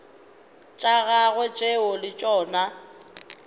tša gagwe tšeo le tšona